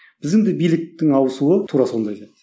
біздің де биліктің ауысуы тура сондай да